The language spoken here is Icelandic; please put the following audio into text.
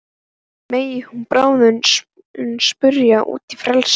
Megi hún bráðum springa út í frelsið.